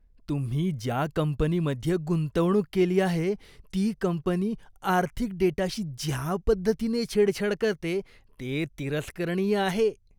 तुम्ही ज्या कंपनीमध्ये गुंतवणूक केली आहे ती कंपनी आर्थिक डेटाशी ज्या पद्धतीने छेडछाड करते ते तिरस्करणीय आहे.